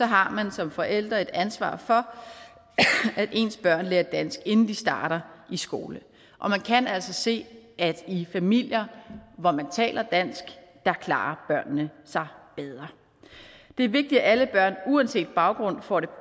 har man som forældre et ansvar for at ens børn lærer dansk inden de starter i skole og man kan altså se at i familier hvor man taler dansk klarer børnene sig bedre det er vigtigt at alle børn uanset baggrund får det